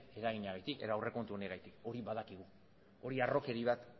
eraginagatik edo aurrekontu honengatik hori badakigu hori harrokeri bat